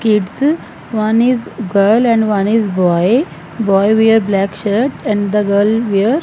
kids one is girl and one is boy boy wear black shirt and the girl wear--